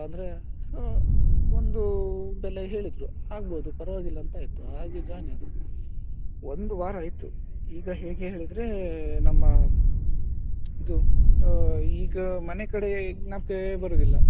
ಅಂದ್ರೆ so ಒಂದು ಬೆಲೆ ಹೇಳಿದ್ರು ಅಗ್ಬೊಹ್ದು ಪರ್ವಾಗಿಲ್ಲ ಅಂತಾಯ್ತು ಹಾಗೆ join ಆಗಿ ಒಂದು ವಾರ ಆಯ್ತು ಈಗ ಹೇಗೆ ಹೇಳಿದ್ರೆ ನಮ್ಮ ಇದು ಆ ಈಗ ಮನೆಕಡೇ ನೆನಪೇ ಬರುದಿಲ್ಲ.